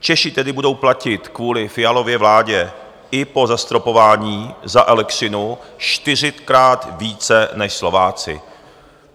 Češi tedy budou platit kvůli Fialově vládě i po zastropování za elektřinu čtyřikrát více než Slováci.